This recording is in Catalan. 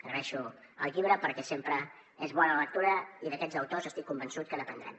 agraeixo el llibre perquè sempre és bona lectura i d’aquests autors estic convençut que n’aprendrem